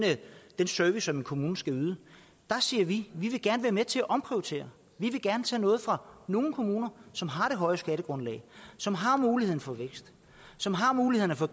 service som en kommune skal yde der siger vi vi vil gerne være med til at omprioritere vi vil gerne tage noget fra nogle kommuner som har det høje skattegrundlag som har muligheden for vækst som har muligheden for